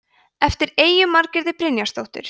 eftir eyju margréti brynjarsdóttur